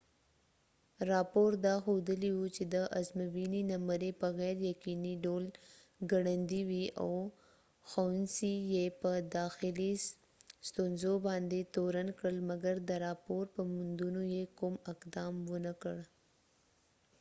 راپور دا ښودلی و چې د ازموينی نمری په غیر یقینی ډول ګړندي وي او ښوونڅی یې په داخلی ستونزو باندي تورن کړ مګر د راپور په موندونو یې کوم اقدام ونه کړ